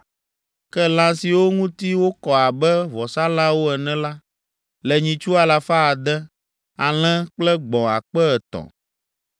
Ke lã siwo ŋuti wokɔ abe vɔsalãwo ene la, le nyitsu alafa ade (600), alẽ kple gbɔ̃ akpe etɔ̃ (3,000).